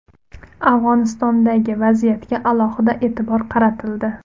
Afg‘onistondagi vaziyatga alohida e’tibor qaratildi.